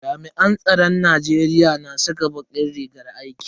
Jami'an tsaron Najeriya na saka bakin rigar aiki.